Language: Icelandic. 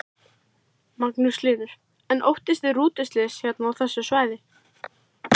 Magnús Hlynur: En óttist þið rútuslys hérna á þessu svæði?